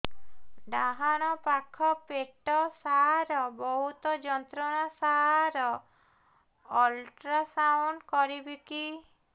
ଡାହାଣ ପାଖ ପେଟ ସାର ବହୁତ ଯନ୍ତ୍ରଣା ସାର ଅଲଟ୍ରାସାଉଣ୍ଡ କରିବି କି